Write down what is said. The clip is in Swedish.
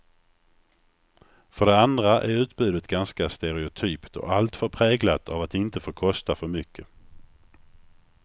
För det andra är utbudet ganska stereotypt och alltför präglat av att inte få kosta för mycket.